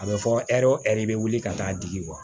A bɛ fɔ ɛri o ɛri bɛ wuli ka taa digi